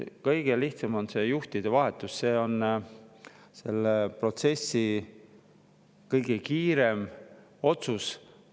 Kõige lihtsam on juhtide vahetus, see on selle protsessi kõige kiirem otsus.